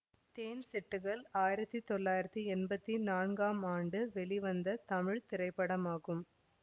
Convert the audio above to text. தேன் சிட்டுகள் ஆயிரத்தி தொள்ளாயிரத்தி எம்பத்தி நான்காம் ஆண்டு வெளிவந்த தமிழ் திரைப்படமாகும்